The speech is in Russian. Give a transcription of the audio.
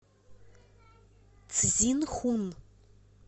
цзинхун